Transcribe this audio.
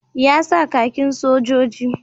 Ya sa kakin sojoji